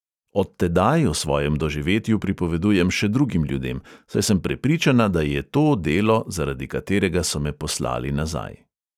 Od tedaj o svojem doživetju pripovedujem še drugim ljudem, saj sem prepričana, da je to delo, zaradi katerega so me poslali nazaj.